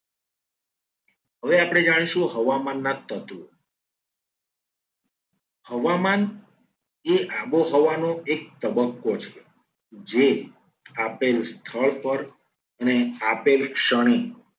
હવે આપણે જાણીશું. હવામાનના તત્વો હવામાન એ આબોહવાનો એક તબક્કો છે. જે આપેલ સ્થળ પર અને આપેલ ક્ષણિક